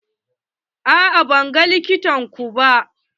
A'a ban ga likita ko ba.